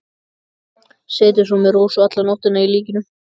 Setið svo með Rósu alla nóttina hjá líkinu.